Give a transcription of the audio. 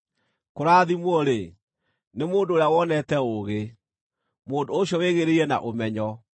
Kũrathimwo-rĩ, nĩ mũndũ ũrĩa wonete ũũgĩ, mũndũ ũcio wĩgĩĩrĩire na ũmenyo,